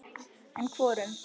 En hvorum?